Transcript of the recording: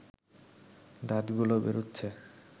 দাঁতগুলো বেরুচ্ছে